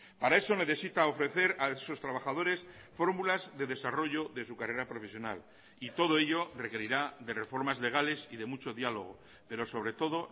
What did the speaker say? para eso necesita ofrecer a sus trabajadores fórmulas de desarrollo de su carrera profesional y todo ello requerirá de reformas legales y de mucho diálogo pero sobre todo